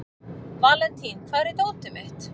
Valentín, hvar er dótið mitt?